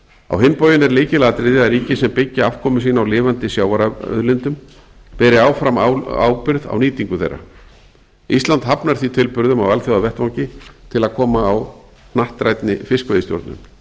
á hinn bóginn er lykilatriði að ríki sem byggja afkomu sína á lifandi sjávarauðlindum beri áfram ábyrgð á nýtingu þeirra ísland hafnar því tilburðum á alþjóðavettvangi til að koma á hnattrænni fiskveiðistjórnun